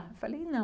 Eu falei, nã